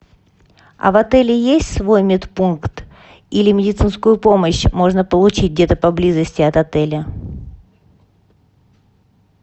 а в отеле есть свой медпункт или медицинскую помощь можно получить где то поблизости от отеля